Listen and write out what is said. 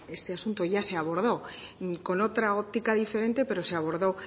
este asunto ya se abordó con otra óptica diferente pero se abordó